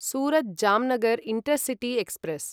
Surat Jamnagar intercity express